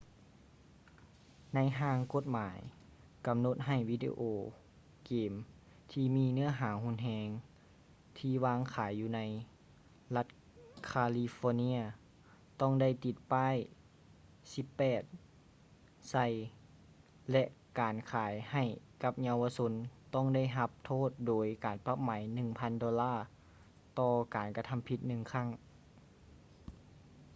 ໃນຮ່າງກົດໝາຍ ກຳນົດໃຫ້ວິດີໂອເກມທີ່ມີເນື້ອຫາຮຸນແຮງ ທີ່ວາງຂາຍຢູ່ໃນລັດຄາລີຟໍເນຍ ຕ້ອງໄດ້ຕິດປ້າຍ 18 ໃສ່ ແລະ ການຂາຍໃຫ້ກັບເຍົາວະຊົນຕ້ອງໄດ້ຮັບໂທດໂດຍການປັບໃໝ 1000 ໂດລາ ຕໍ່ການກະທຳຜິດໜຶ່ງຄັ້ງ